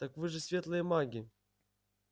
так вы же светлые маги